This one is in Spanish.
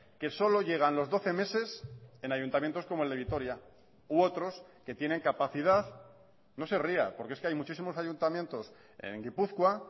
que solo llegan los doce meses en ayuntamientos como el de vitoria u otros que tienen capacidad no se ría porque es que hay muchísimos ayuntamientos en gipuzkoa